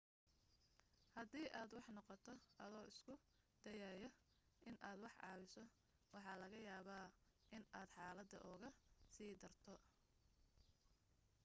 hadii aad wax noqoto adoo isku dayaya inaad wax caawiso waxa laga yaaba inaad xaaladda uga sii darto